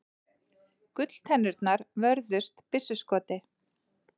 Gulltennurnar vörðust byssuskoti